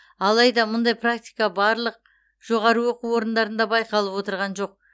алайда мұндай практика барлық жоғары оқу орындарында байқалып отырған жоқ